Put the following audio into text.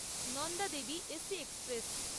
Nanda Devi AC express